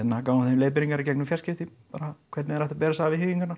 gáfum þeim leiðbeiningar í gegnum fjarskipti bara hvernig þeir ættu að bera sig að við